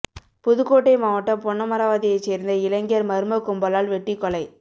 புதுக்கோட்டை மாவட்டம் பொன்னமராவதியைச் சேர்ந்த இளைஞர் மர்ம கும்பலால் வெட்டிக் கொலை